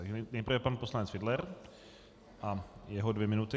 Takže nejprve pan poslanec Fiedler a jeho dvě minuty.